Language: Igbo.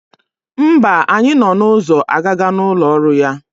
Mba, anyị nọ n'ụzọ agaga n'ụlọ ọrụ ya.